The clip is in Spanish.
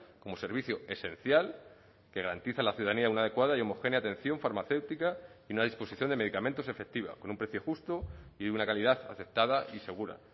como servicio esencial que garantiza a la ciudadanía una adecuada y homogénea atención farmacéutica y una disposición de medicamentos efectiva con un precio justo y una calidad aceptada y segura